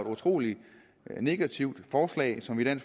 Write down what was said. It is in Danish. utrolig negativt forslag som vi